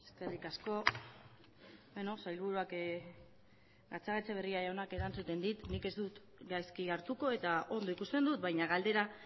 eskerrik asko sailburuak gatzagaetxebarria jaunak erantzuten dit nik ez dut gaizki hartuko eta ondo ikusten dut baina galdera